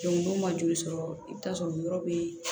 n'u ma joli sɔrɔ i bi taa sɔrɔ yɔrɔ be yen